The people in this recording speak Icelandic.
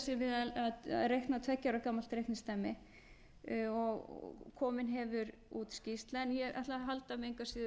við að reikna tveggja ára gamalt reikningsdæmi og komið hefur út skýrsla en ég ætla að halda mig engu að síður